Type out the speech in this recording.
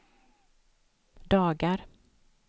dagar